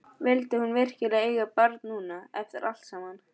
Vildi hún virkilega eiga barn núna, eftir allt saman?